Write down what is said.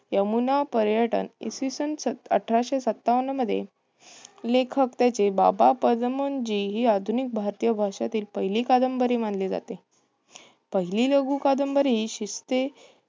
यमुना पर्यटन, इसवी सन अठराशे सत्तावन्नमध्ये लेखक त्याचे बाबा पदमजी हे हि आधुनिक भारतीय भाषातील पहिली कादंबरी मानली जाते. पहिली लघु कादंबरी शिस्ते